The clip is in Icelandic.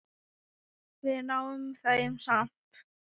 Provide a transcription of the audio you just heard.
Við náum þeim samt!